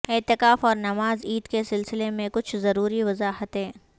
اعتکاف اور نماز عید کے سلسلہ میں کچھ ضروری وضاحتیں